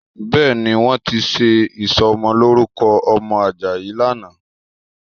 Bẹ́ẹ̀ni, wọ́n ti ṣe ìsọmọlórúkọ ọmọ Àjàyí lánàá